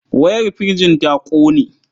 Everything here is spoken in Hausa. Wayar firjin ta ƙone.